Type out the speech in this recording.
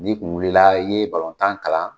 Ni kun wulila i ye tan kalan